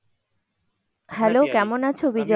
Hello কেমন আছে বিজয়?